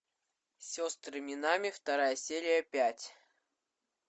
сестры минами вторая серия пять